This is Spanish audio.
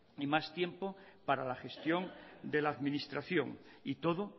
y más tiempo para la gestión de la administración y todo